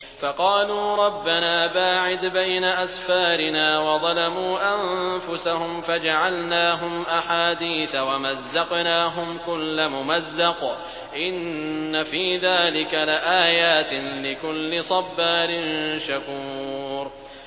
فَقَالُوا رَبَّنَا بَاعِدْ بَيْنَ أَسْفَارِنَا وَظَلَمُوا أَنفُسَهُمْ فَجَعَلْنَاهُمْ أَحَادِيثَ وَمَزَّقْنَاهُمْ كُلَّ مُمَزَّقٍ ۚ إِنَّ فِي ذَٰلِكَ لَآيَاتٍ لِّكُلِّ صَبَّارٍ شَكُورٍ